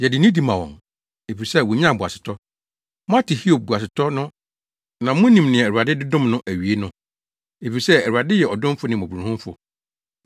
Yɛde nidi ma wɔn, efisɛ wonyaa boasetɔ. Moate Hiob boasetɔ no na munim nea Awurade de dom no awiei no; efisɛ Awurade yɛ ɔdomfo ne mmɔborɔhunufo.